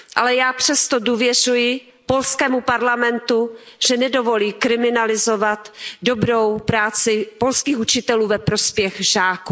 Ale já přesto důvěřuji polskému parlamentu, že nedovolí kriminalizovat dobrou práci polských učitelů ve prospěch žáků.